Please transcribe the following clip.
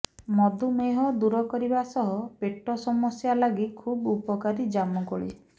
ମଧୁମେହ ଦୂର କରିବା ସହ ପେଟ ସମସ୍ୟା ଲାଗି ଖୁବ୍ ଉପକାରୀ ଜାମୁକୋଳି